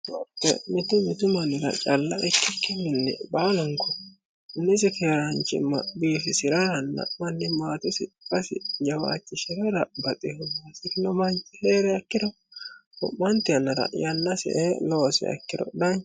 mitu mitu mannira calla ikkikkiminni baalunko nisi keeraanchimma biifisi'raaranna manni maatesi jawaachishi'rara baxehunmasikino manchi hee're akkiro ru'maanti annara yanna si ee loose ikkiro